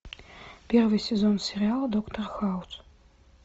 первый сезон сериала доктор хаус